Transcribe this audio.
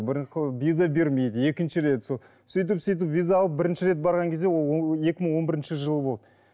виза бермейді екінші рет сол сөйтіп сөйтіп виза алып бірінші рет барған кезде ол екі мың он бірінші жыл болды